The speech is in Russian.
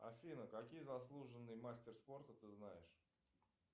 афина какие заслуженные мастер спорта ты знаешь